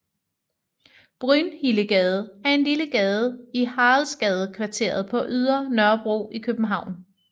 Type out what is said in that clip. Brynhildegade er en lille gade i Haraldsgadekvarteret på Ydre Nørrebro i København